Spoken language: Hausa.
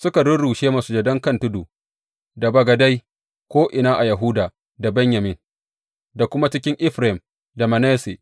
Suka rurrushe masujadan kan tudu da bagadai, ko’ina a Yahuda da Benyamin da kuma cikin Efraim da Manasse.